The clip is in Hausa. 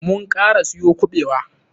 Mun kara siyo kuɓewa.